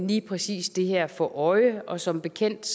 lige præcis det her for øje og som bekendt